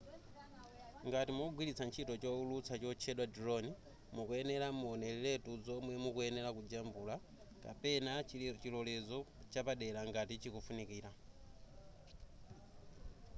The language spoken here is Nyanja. ngati mukugwilitsa ntchito chowulutsa chotchedwa drone mukuyenera muoneretu zomwe mukuyenera kujambula kapena chilolezo chapadera ngati chikufunikira